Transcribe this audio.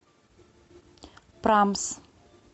прамс